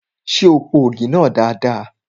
Ṣé o po ògì náà dada?